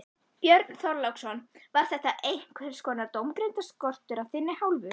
Björn Þorláksson: Var þetta einhvers konar dómgreindarskortur af þinni hálfu?